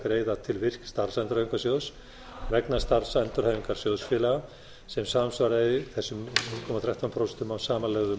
greiða til virk starfsendurhæfingarsjóðs vegna starfsendurhæfingar sjóðfélaga sem samsvaraði þessum núll komma þrettán prósent af samanlögðum